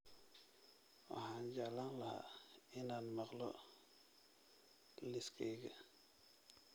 Waxaan jeclaan lahaa inaan maqlo liiskayga